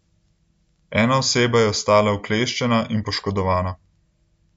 Ena oseba je ostala ukleščena in poškodovana.